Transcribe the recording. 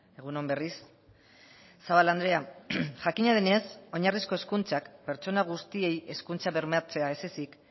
egun on berriz zabala andrea jakina denez oinarrizko hezkuntzak pertsona guztiei hezkuntza bermatzea ez ezik